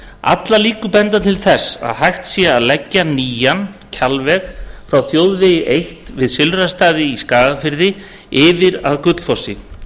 allar líkur benda til þess að hægt sé að leggja nýjan kjalveg frá þjóðvegi eitt við silfrastaði í skagafirði yfir að gullfossi